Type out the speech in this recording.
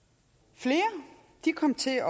flere kom til at